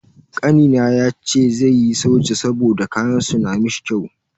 Kanina yace zai yi soja saboda kayan su na mishi kyau.